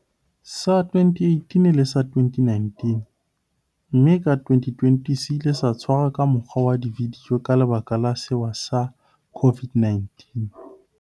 Sa 2018 le sa 2019, mme ka 2020 se ile sa tshwarwa ka mokgwa wa vidio ka lebaka la sewa sa COVID-19.